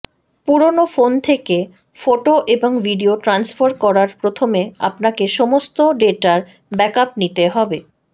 পুরানো ফোন থেকে ফোটো এবং ভিডিও ট্রান্সফার করার প্রথমে আপনাকে সমস্ত ডেটার ব্যাকআপ নিতে হবে